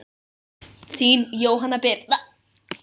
Þín Jóhanna Birna.